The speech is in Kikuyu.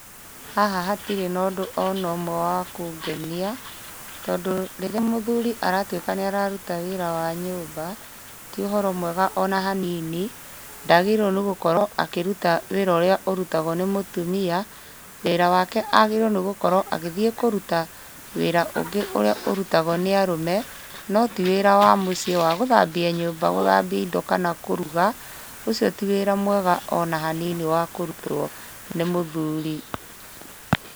Haha hatirĩ na ũndũ ona ũmwe wa kũngenia, tondũ rĩrĩa mũthuri aratuĩka nĩararuta wĩra wa nyũmba, ti ũhoro mwega ona hanini. Ndagĩrĩirwo nĩ gũkorwo akĩruta wĩra ũrĩa ũrutagwo nĩ mũtumia. Wĩra wake agĩrĩirwo nĩ gũkorwo agĩthiĩ kũruta wĩra ũngĩ ũrĩa ũrutagwo nĩ arũme, no ti wĩra wa mũciĩ wa gũthambia nyũmba, gũthambia indo kana kũruga, ũcio ti wĩra mwega ona hanini wa kũrutwo nĩ mũthuri